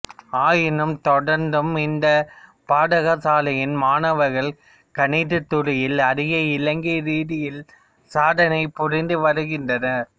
ஆயினும் தொடர்ந்தும் இந்த பாடசாலையின் மாணவர்கள் கணித துறையில் அகில இலங்கை ரீதியில் சாதனை புரிந்து வருகின்றனர்